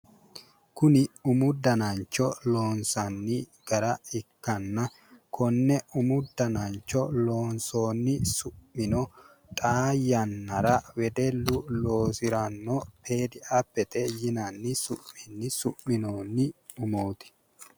kuni umu danancho loonsanni gara ikkanna konne umu danancho loonsoonni su'mino xaa yannara wedellu loosiranno umo fedi apete yinanni su'minoonni umooti.